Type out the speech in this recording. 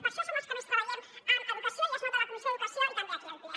per això som els que més treballem en educació i es nota a la comissió d’educació i també aquí al ple